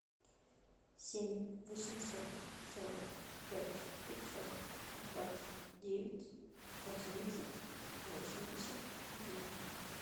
семь восемьсот сорок пять пятьсот двадцать девять одиннадцать восемьдесят один